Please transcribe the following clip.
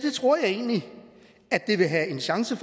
egentlig at det vil have en chance